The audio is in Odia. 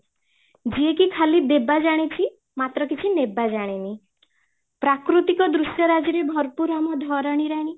ଯିଏକି ଖାଲି ଦେବା ଜାଣିଛି ମାତ୍ର କିଛି ନେବା ଜାଣିନି , ପ୍ରାକୃତିକ ଦୃଶ୍ୟରାଜ ରେ ଭରପୁର ଆମ ଧରଣୀ ରାଣୀ